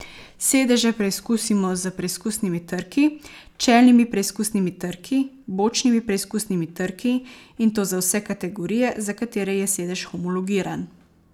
Sedeže preizkusimo s preizkusnimi trki, čelnimi preizkusnimi trki, bočnimi preizkusnimi trki, in to za vse kategorije, za katere je sedež homologiran.